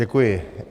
Děkuji.